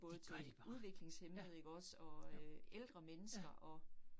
Både til udviklingshæmmede ikke også og øh ældre mennesker og